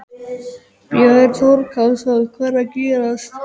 Björn Þorláksson: Hvað er að gerast?